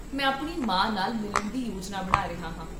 ਮੈਂ ਆਪਣੀ ਮਾਂ ਨਾਲ ਮਿਲਣ ਦੀ ਯੋਜਨਾ ਬਣਾ ਰਿਹਾ ਹਾਂ